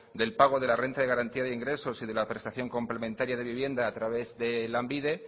del pago de la renta de garantía de ingresos y de la prestación complementaria de vivienda a través de lanbide